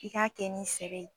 I k'a kɛ ni sɛbɛn ye